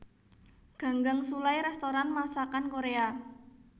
Ganggang Sullai restoran masakan Korea